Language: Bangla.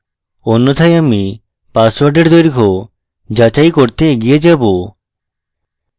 অন্যথায় আমি পাসওয়ার্ডের দৈর্ঘ্য যাচাই করতে এগিয়ে যাবো